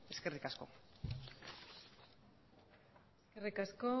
eskerrik asko eskerrik asko